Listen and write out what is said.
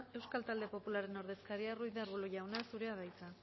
euskal talde popularraren ordezkaria ruiz de arbulo jauna zurea da hitza